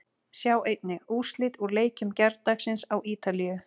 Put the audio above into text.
Sjá einnig: Úrslit úr leikjum gærdagsins á Ítalíu